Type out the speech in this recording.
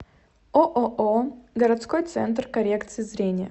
ооо городской центр коррекции зрения